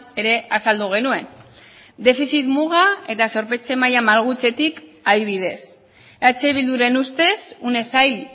ere azaldu genuen defizit muga eta zorpetze maila malgutzetik adibidez eh bilduren ustez une zail